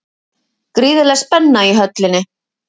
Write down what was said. Gríðarleg spenna í Höllinni